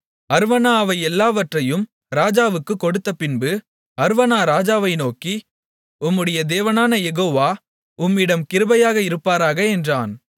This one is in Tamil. அர்வனா அவை எல்லாவற்றையும் ராஜாவுக்குக் கொடுத்தபின்பு அர்வனா ராஜாவை நோக்கி உம்முடைய தேவனான யெகோவா உம்மிடம் கிருபையாக இருப்பாராக என்றான்